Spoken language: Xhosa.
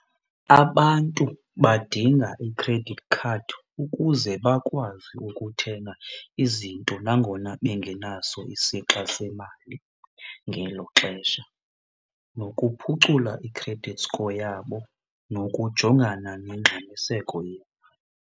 Abantu badinga i-credit card ukuze bakwazi ukuthenga izinto nangona bengenaso isixa semali ngelo xesha, nokuphucula i-credit score yabo, nokujongana nengxamiseko yemali.